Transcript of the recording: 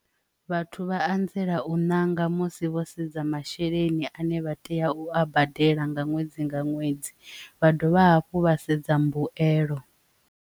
Vhathu vha anzela u ṋanga musi vho sedza masheleni ane vha tea u a badela nga ṅwedzi nga ṅwedzi vha dovha hafhu vha sedza mbuelo.